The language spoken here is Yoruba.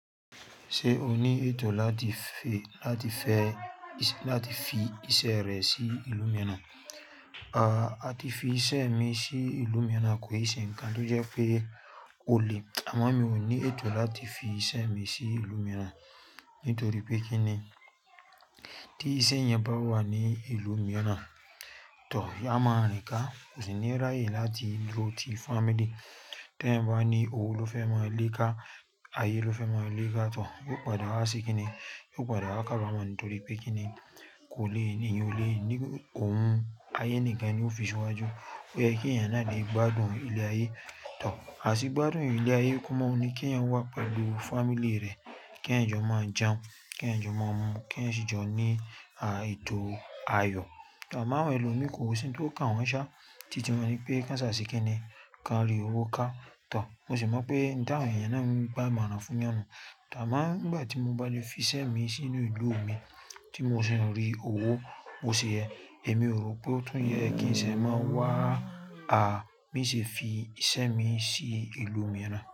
Ṣé o ní ètò láti fi, láti fẹ́ iṣẹ́, láti fi iṣẹ́ rẹ sí ìlú mìíràn? A ti fi iṣẹ́ mi sí ìlú mìíràn kò ì ṣe nǹkan tó jẹ́ pé ó le. Àmọ́ mi ò ní ètò láti fi iṣẹ́ mi sí ìlú mìíràn nítorí pé kí ni? Tí iṣẹ́ yẹn bá wà ní ìlú mìíràn to, a mọn rìn ká, kò sì ní ráyè láti dúró ti family. Teyań bá ní òwo ló fẹ́ máa lé ká, ayé ló fẹ́ máa lé ká tọ, yóò padà wá se kí ni? Yóò padà wá ká bá mọ ní torí pé kí ni? Kò le ni, èyan ò le, ní òun, ayé nìkan ni ó fi síwájú. Ó yẹ kí ẹ̀yàn náà lè gbádùn ilé ayé tọ. Àti gbádùn ilé ayé kò mọ́ ni kí ẹ̀yàn wà pẹ̀lú family rẹ̀, kí ẹ̀yàn jọ mọ jẹun, kí ẹ̀yàn jọ mọ mu, kí ẹ̀yàn sì jọ ní ètò ayọ̀. Àmọ́ àwọn ẹlòmí kò sí n tó kan wọ́n ṣá, títí wọn ní pé ká sà se kí ni? Ka rí owó ká tọ. Mo sì mọ̀ pé ní tà wọ̀n ẹ̀yàn náà ń gba imọ̀ràn fún yànnu. Àmọ́ nígbà tí mo bá lè fi iṣẹ́ mi sínú ìlú mi tí mo sì ń rí owó, bo ṣe yẹ. Èmi ò rò pé ó tún yẹ kí n ṣe máa wá, a, mí sì fi iṣẹ́ mi sí ìlú mìíràn.